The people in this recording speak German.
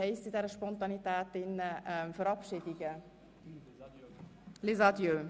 – ich weiss bei der ganzen Spontaneität nicht einmal, wie «Verabschiedung» auf Französisch heisst ()– les adieux?